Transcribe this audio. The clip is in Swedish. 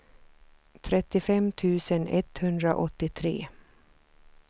trettiofem tusen etthundraåttiotre